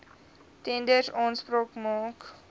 tenders aanspraak maak